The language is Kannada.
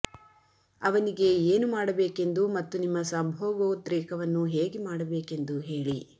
ಅವನಿಗೆ ಏನು ಮಾಡಬೇಕೆಂದು ಮತ್ತು ನಿಮ್ಮ ಸಂಭೋಗೋದ್ರೇಕವನ್ನು ಹೇಗೆ ಮಾಡಬೇಕೆಂದು ಹೇಳಿ